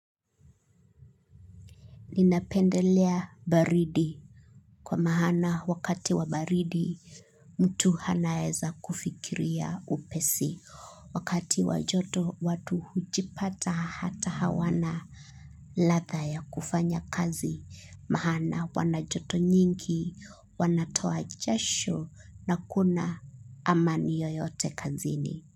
Ninapendelea baridi kwa mahana wakati wa baridi mtu hanaeza kufikiria upesi wakati wajoto watu hujipata hata hawana latha ya kufanya kazi mahana wanajoto nyingi wanatoa chasho na kuna amani yoyote kazini.